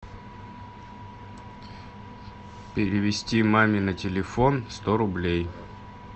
перевести маме на телефон сто рублей